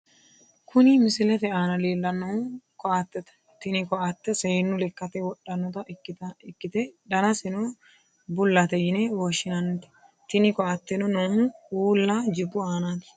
kuni misilete aana leellannohu koattete. tini koatte seennu lekkate wodhannota ikkite danaseno bullate yine woshshinanni. tini koatteno noohu uulla jibbu aanaati.